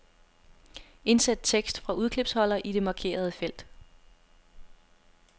Indsæt tekst fra udklipsholder i det markerede felt.